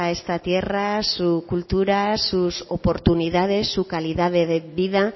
esta tierra su cultura sus oportunidades su calidad de vida